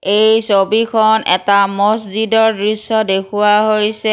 এই ছবিখন এটা মছজিদৰ দৃশ্য দেখুওৱা হৈছে।